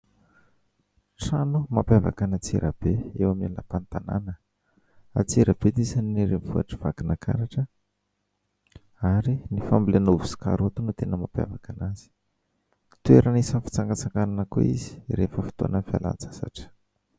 Trano mampiavaka an'Antsirabe, eo amin'ny lapan'ny tanàna. Antsirabe dia isan'ny renivohitr'i Vakinankaratra ary ny fambolena ovy sy karaoty no tena mampiavaka anazy. toerana isan'ny fitsangatsanganana koa izy rehefa fotoanan'ny fialan-tsasatra.